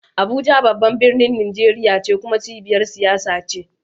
Abuja babban birnin Najeriya ne kuma cibiyar siyasa ce.